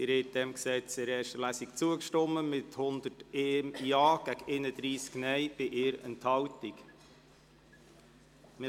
Sie haben dem Gesetz in erster Lesung mit 101 Ja- gegen 31 Nein-Stimmen bei 1 Enthaltung zugestimmt.